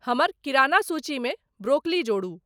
हमर किराना सूची मे ब्रोकली जोरु